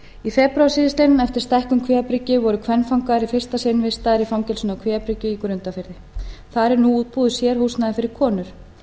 í febrúar síðastliðinn eftir stækkun kvíabryggju voru kvenfangar í fyrsta sinn vistaðir í fangelsinu á kvíabryggju í grundarfirði þar er nú útbúið sérhúsnæði fyrir konur